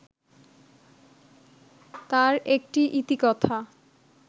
তার একটি ইতিকথা